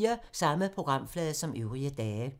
Samme programflade som øvrige dage